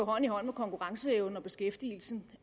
hånd i hånd med konkurrenceevnen og beskæftigelsen